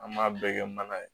An b'a bɛɛ kɛ mana ye